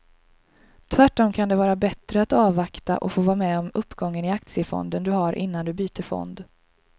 Tvärtom kan det vara bättre att avvakta och få vara med om uppgången i aktiefonden du har innan du byter fond.